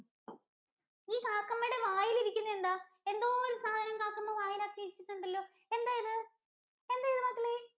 ഈ കാക്കമ്മയുടെ വായിൽ ഇരിക്കുന്നനെ എന്താ? എന്തോ ഒര് സാധനം കാക്കമ്മ വായിൽ ആക്കി വെച്ചിട്ടുണ്ടല്ലോ എന്താ ഇത്? എന്താ ഇത് മക്കളെ?